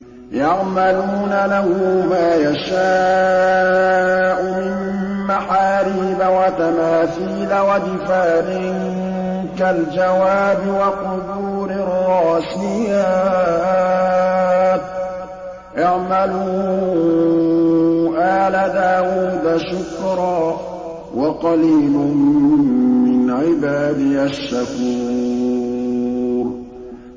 يَعْمَلُونَ لَهُ مَا يَشَاءُ مِن مَّحَارِيبَ وَتَمَاثِيلَ وَجِفَانٍ كَالْجَوَابِ وَقُدُورٍ رَّاسِيَاتٍ ۚ اعْمَلُوا آلَ دَاوُودَ شُكْرًا ۚ وَقَلِيلٌ مِّنْ عِبَادِيَ الشَّكُورُ